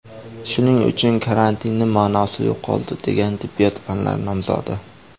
Shuning uchun karantinning ma’nosi yo‘qoldi”, degan tibbiyot fanlari nomzodi.